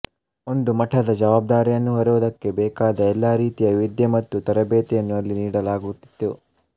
ಒಂದು ಮಠದ ಜವಾಬ್ದಾರಿಯನ್ನು ಹೊರುವುದಕ್ಕೆ ಬೇಕಾದ ಎಲ್ಲಾ ರೀತಿಯ ವಿದ್ಯೆ ಮತ್ತು ತರಬೇತಿಯನ್ನು ಅಲ್ಲಿ ನೀಡಲಾಗುತ್ತಿತ್ತು